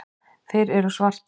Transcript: Þeir eru svartir.